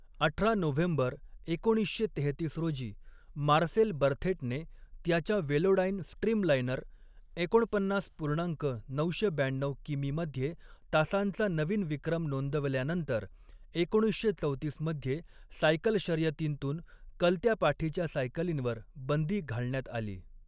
अठरा नोव्हेंबर एकोणीसशे तेहत्तीस रोजी मार्सेल बर्थेटने त्याच्या वेलोडाइन स्ट्रीमलाइनर एकोणपन्नास पूर्णांक नऊशे ब्याण्णव किमीमध्ये तासांचा नवीन विक्रम नोंदवल्यानंतर, एकोणीसशे चौतीसमध्ये सायकल शर्यतींतून कलत्या पाठीच्या सायकलींवर बंदी घालण्यात आली.